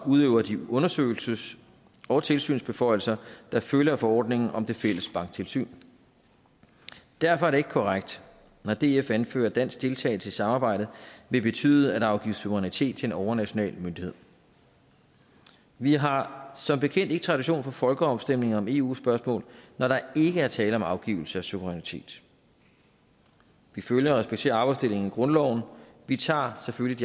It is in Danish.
udøver de undersøgelses og tilsynsbeføjelser der følger af forordningen om det fælles banktilsyn derfor er det ikke korrekt når df anfører at dansk deltagelse i samarbejdet vil betyde at der afgives suverænitet til en overnational myndighed vi har som bekendt ikke tradition for folkeafstemninger om eu spørgsmål når der ikke er tale om afgivelse af suverænitet vi følger og respekterer arbejdsdelingen i grundloven vi tager selvfølgelig